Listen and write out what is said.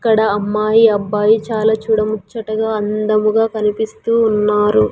ఇక్కడ అమ్మాయి అబ్బాయి చాలా చూడముచ్చటగా అందముగా కనిపిస్తూ ఉన్నారు.